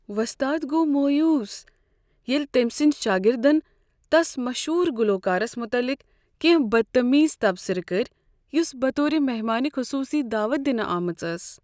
وۄستاد گوٚو مویوٗس ییٚلہِ تمۍ سٕنٛدۍ شٲگِردن تس مشہوٗر گلوکارس متعلق کٮ۪نٛہہ بدتمیز تبصرٕ کٔرۍ یس بطور مہمان خصوصی دعوتھ دِنہ آمٕژ ٲس۔